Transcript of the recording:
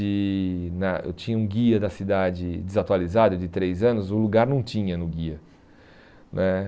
E na eu tinha um guia da cidade desatualizado, de três anos, o lugar não tinha no guia né.